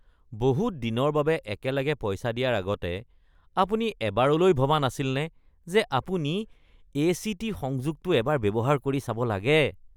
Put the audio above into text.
বহুত দিনৰ বাবে একেলগে পইচা দিয়াৰ আগতে আপুনি এবাৰলৈ ভবা নাছিলনে যে আপুনি এ.চি.টি. সংযোগটো এবাৰ ব্যৱহাৰ কৰি চাব লাগে?